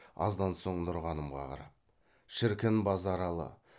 аздан соң нұрғанымға қарап шіркін базаралы